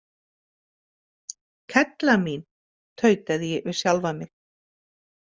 Kella mín, tautaði ég við sjálfa mig.